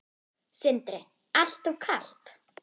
Sindri: Alltof kalt?